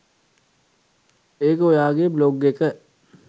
ඒක ඔයාගේ බ්ලොග් එක